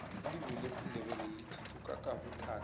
ilimu lesindebele lithuthuka kabuthaka